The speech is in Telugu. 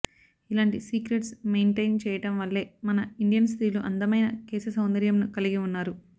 ఇలాంటి సీక్రెట్స్ మెయింటైన్ చేయడం వల్లే మన ఇండియన్ స్త్రీలు అందమైన కేశ సౌందర్యంను కలిగి ఉన్నారు